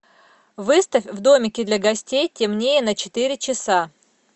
выставь в домике для гостей темнее на четыре часа